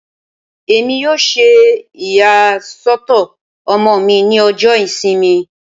Emi yoo ṣe iyasọtọ ọmọ mi ni ọjọ Isinmi